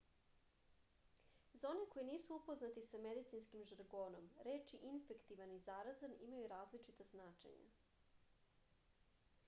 za one koji nisu upoznati sa medicinskim žargonom reči infektivan i zarazan imaju različita značenja